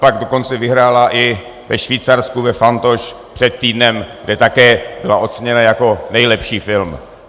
Pak dokonce vyhrála i ve Švýcarsku na Fantoche před týdnem, kde také byla oceněna jako nejlepší film.